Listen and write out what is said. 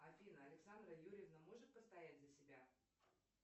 афина александра юрьевна может постоять за себя